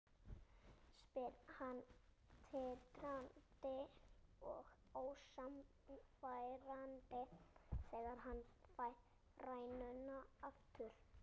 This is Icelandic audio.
spyr hann titrandi og ósannfærandi þegar hann fær rænuna aftur.